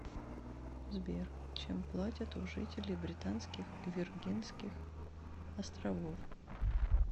сбер чем платят у жителей британских виргинских островов